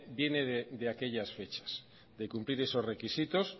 viene de aquellas fechas de cumplir esos requisitos